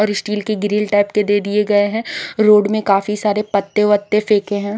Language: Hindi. और स्टील की ग्रील टाइप के दे दिए गए है रोड में काफी सारे पत्ते वत्ते फैंके हैं।